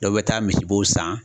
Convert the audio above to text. Dɔ bɛ taa misibow san